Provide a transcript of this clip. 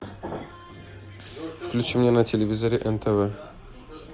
включи мне на телевизоре нтв